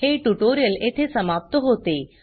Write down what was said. हे ट्यूटोरियल येथे समाप्त होते